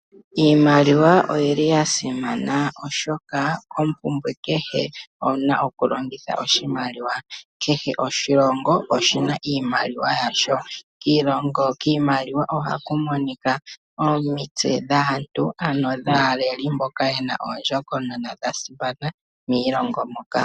Iimaliwa oyili yasimana, oshoka ompumbwe kehe owuna okulongitha oshimaliwa. Kehe oshilongo oshina iimaliwa yasho. Kiimaliwa ohaku monika omitse dhaantu ano dhaaleli mboka ye na ondjokonona yasimana miilongo moka.